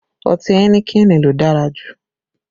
Ọtí ẹnikẹni ló dára jù